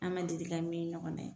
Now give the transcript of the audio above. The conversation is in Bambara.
An ma deli ka min ɲɔgɔnna ye.